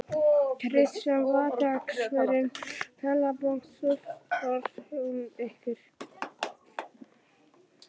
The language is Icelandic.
Kristján: Vaxtaákvörðun Seðlabankans, truflar hún ykkur?